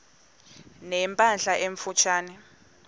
ne mpahla emfutshane